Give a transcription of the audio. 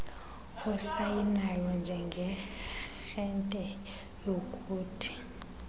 osayinayo njengearhente yokuthi